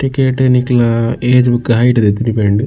Ticket ನಿಕ್ಲೆನ age ಬೊಕ height that depend .